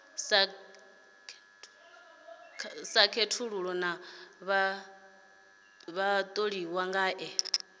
sa khethulula na vhatholiwa ngae